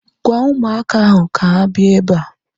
Gwaa ụmụaka ahu ka ha bịa ebea